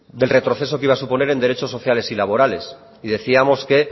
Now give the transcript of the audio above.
del retroceso que iba a suponer en derechos sociales y laborales y decíamos que